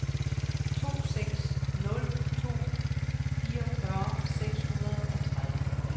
to seks nul to fireogfyrre seks hundrede og tredive